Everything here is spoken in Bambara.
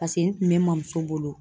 Paseke n kun be n mɔmuso bolo.